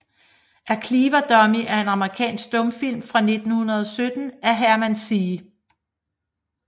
A Clever Dummy er en amerikansk stumfilm fra 1917 af Herman C